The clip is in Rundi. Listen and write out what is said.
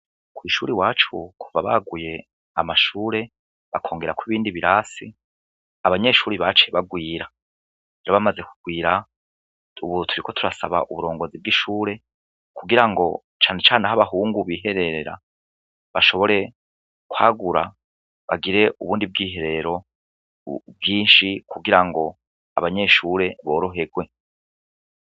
kw' ishuri wacu kuva baguye amashure bakongera ko ibindi birasi abanyeshuri baciye bagwira bamaze kugwira ubuturi ko turasaba uburongozi bw'ishure kugira ngo cane cane ho'abahungu bihererera bashobore kwagura bagire ubundi bw'iherero bwinshi kugira ngo abanyeshure borohegwe